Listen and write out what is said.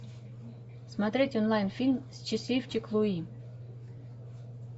смотреть онлайн фильм счастливчик луи